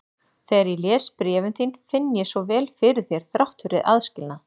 Þegar ég les bréfin þín finn ég svo vel fyrir þér þrátt fyrir aðskilnað.